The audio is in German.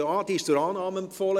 Sie ist zur Annahme empfohlen.